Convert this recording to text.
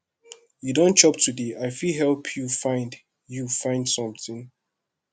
you don chop today i fit help you find you find something